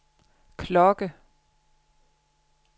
klokke